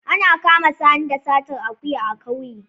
Ana kama Sani da satar akuya a kauye